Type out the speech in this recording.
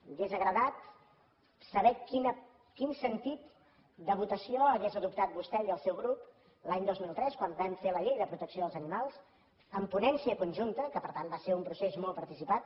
m’hauria agradat saber quin sentit de votació hagués adoptat vostè i el seu grup l’any dos mil tres quan vam fer la llei de protecció dels animals amb ponència conjunta que per tant va ser un procés molt participat